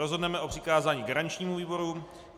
Rozhodneme o přikázání garančnímu výboru.